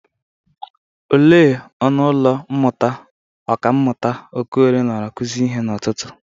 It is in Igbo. Ele ọnụ ụlọ mmụta ọkammụta Okorie nọrọ kụzie ihe n'ụtụtụ?